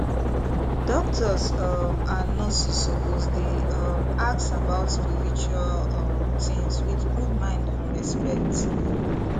doctors um and nurses suppose dey um ask about spiritual um things with good mind and respect